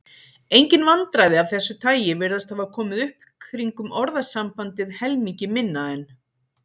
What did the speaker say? Engin vandræði af þessu tagi virðast hafa komið upp kringum orðasambandið helmingi minna en.